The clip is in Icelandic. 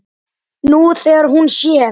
Nú þegar hún sér.